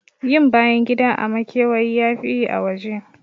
Yin bayan gida a makewayi yafi yi a waje.